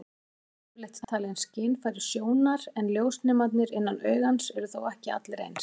Augun eru yfirleitt talin skynfæri sjónar, en ljósnemarnir innan augans eru þó ekki allir eins.